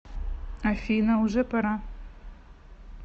афина уже пора